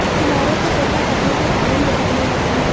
किनारों से त्वचा फटने के कारण लटकने लगती है